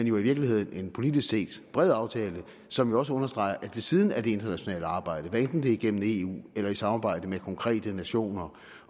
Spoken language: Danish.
jo i virkeligheden en politisk set bred aftale som også understreger at ved siden af det internationale arbejde hvad enten det er igennem eu eller i samarbejde med konkrete nationer